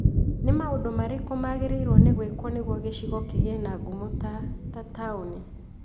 Nĩ maũndũ marĩkũ magĩrĩirũo nĩ gwĩkwo nĩguo gĩcigo kĩgĩe na ngumo ta ta taũni?